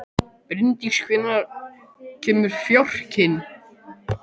Bryndís, hvenær kemur fjarkinn?